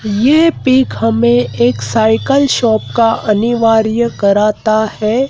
ये पिक हमें एक साइकल शॉप का अनिवार्य कराता है।